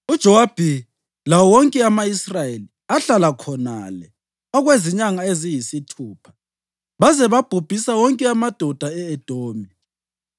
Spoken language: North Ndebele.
UJowabi lawo wonke ama-Israyeli ahlala khonale okwezinyanga eziyisithupha, baze babhubhisa wonke amadoda e-Edomi.